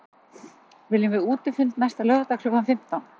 Viljum við útifund næsta laugardag klukkan fimmtán?